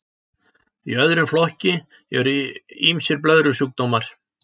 í öðrum flokki eru ýmsir blöðrusjúkdómar